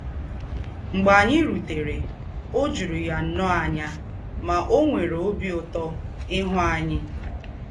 Mḡbè ányị rùtèrè, ò jùrù̀ yà nnọọ ànyà, mà ò nwèrè òbí Ǔtọ̀ íhū ányị.